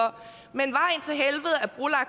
man